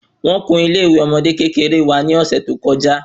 Wón kún ilé ìwé ọmọde kékeré wa ni ọsẹ to kọjá